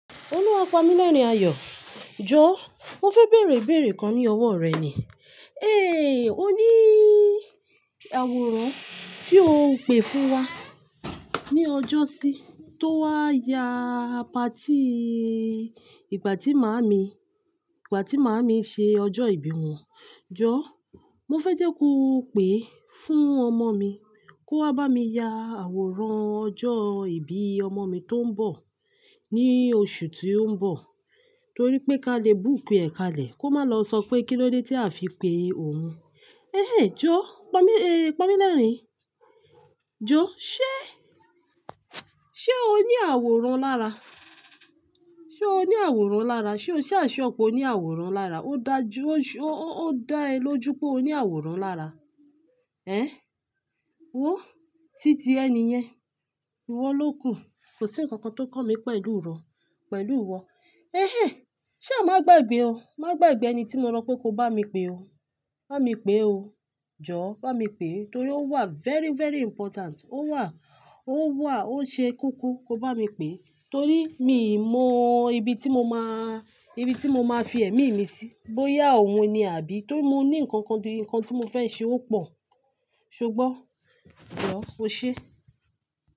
Olúwapamílerinayọ̀, jọ̀ wọ́n fẹ́ bèèrè ìbéèrè kan ní ọwọ́ rẹ ni. Ehn, alàwòrán tí o pè fún wa ní ọjọ́sí tó wá ya apátí ìgbà tí màámi, ìgbà tí màámi ṣe ọjọ́ ìbí wọn. Jọ̀, mo fẹ́ jẹ́ ko pè é fún ọmọ mi kó wá bá mi ya àwòrán ọjọ́ ìbí ọmọ mi tó ń bọ̀ ní oṣù tí ó ń bọ̀ torí pé ka lè bùkú ẹ̀ka lẹ̀ kó má lọ sọ pé kí ló dé tí a fi pe òun. Ehnhen jọ̀, Pamílerìn, jọ̀ ṣé, ṣé o ní àwòrán lára? Ṣé o ní àwòrán lára? Ṣé o ṣà ṣure pé o ní àwòrán lára? Ó dáa ẹ lójú pé o ní àwòrán lára? Ehn, wòó, títí ẹni yẹn, ìwọ ló kù. Kò sí ǹkan kan tó kan mi pẹ̀lú ìwọ. Ehn, ṣa má gbàgbé o. Má gbàgbé ẹni tí mo sọ pé ko bá mi pè o. Bá mi pè o. Jọ̀ bá mi pè torí ó wà very, very important. Ó wà, ó wà, ó ṣe koko ko bá mi pè, torí mi mọ ibi tí mo máa, ibi tí mo máa fi ẹ̀mí mi sí bóyá òun ni àbí, torí mo ní ǹkan kan gidi kan tí mo fẹ́ ṣe ó pò. Ṣé o gbọ́? Jọ̀, ó ṣé.